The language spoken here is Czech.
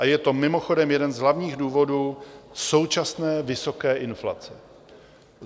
A je to mimochodem jeden z hlavních důvodů současné vysoké inflace.